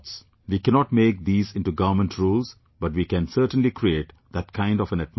We cannot make these into government rules but we can certainly create that kind of an atmosphere